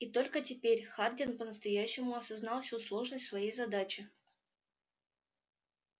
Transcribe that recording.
и только теперь хардин по-настоящему осознал всю сложность своей задачи